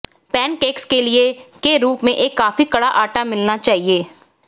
pancakes के लिए के रूप में एक काफी कड़ा आटा मिलना चाहिए